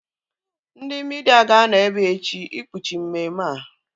Ndị midia ga-anọ ebea echi ikpuchi mmemme a